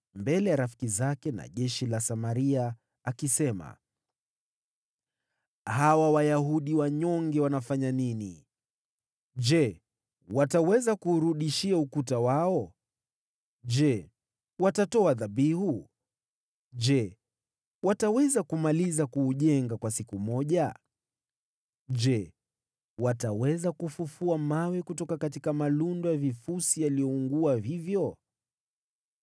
mbele ya rafiki zake na jeshi la Samaria, akisema, “Hawa Wayahudi wanyonge wanafanya nini? Je, wataweza kuurudishia ukuta wao? Je, watatoa dhabihu? Je, wataweza kumaliza kuujenga kwa siku moja? Je, wataweza kufufua mawe kutoka malundo ya vifusi yaliyoungua hivyo?”